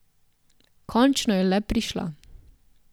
Končno je le prišla.